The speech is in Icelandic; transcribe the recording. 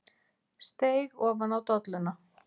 Steig ofan á dolluna.